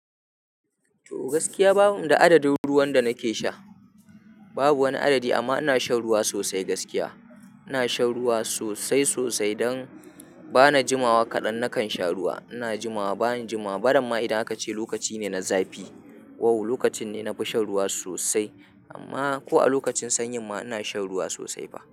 To gaskiya bani da adadin ruwan da nake sha. Babu wani adadi amma ina shan ruwa sosai gaskiya. Ina shan ruwa sosai sosai don bana jimawa kaɗan nakan sha ruwa. Ina jimawa bana jimawa. Bardama idan aka ce lokaci ne na zafi, wow, lokacin ne na fi shan ruwa sosai. Amma ko a lokacin sanyi ma ina shan ruwa sosai fa.